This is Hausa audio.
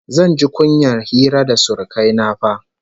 Zan ji kunyar hira da surukai na fa!